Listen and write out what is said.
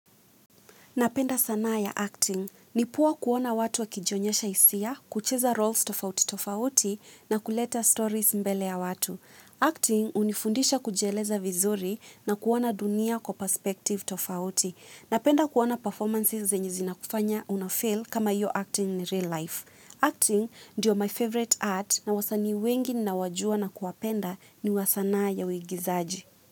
Napenda sanaa ya acting. Ni poa kuona watu wa kijionyesha hisia, kucheza roles tofauti tofauti na kuleta stories mbele ya watu. Acting unifundisha kujieleza vizuri na kuona dunia kwa perspective tofauti. Napenda kuona performances zenye zina kufanya unafeel kama iyo acting ni real life. Acting ndio my favorite art na wasanii wengi ninawajua na kuwapenda ni wa sanaa ya uigizaji.